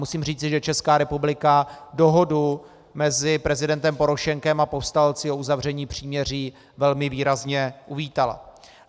Musím říci, že Česká republika dohodu mezi prezidentem Porošenkem a povstalci o uzavření příměří velmi výrazně uvítala.